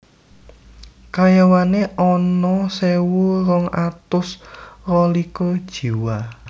Karyawané ana sewu rong atus rolikur jiwa